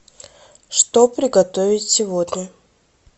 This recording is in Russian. что приготовить сегодня